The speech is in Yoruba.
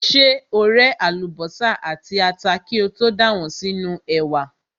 Ṣé o ré àlùbọ́sà àti ata kí o tó dà wọ́n sínú ẹ̀wà?